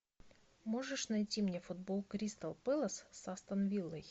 можешь найти мне футбол кристал пэлас с астон виллой